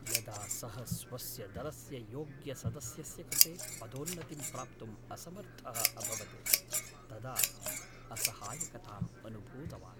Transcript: यदा सः स्वस्य दलस्य योग्यसदस्यस्य कृते पदोन्नतिं प्राप्तुं असमर्थः अभवत् तदा असहायकताम् अनुभूतवान्।